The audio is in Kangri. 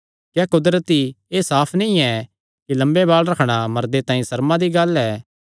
क्या कुदरती एह़ साफ नीं ऐ कि लम्मे बाल़ रखणा मर्दे तांई सर्मा दी गल्ल ऐ